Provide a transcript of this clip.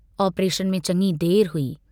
Operation में चङी देर हुई।